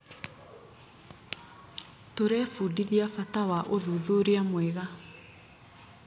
Tũrebundithia bata wa ũthuthuria mwega.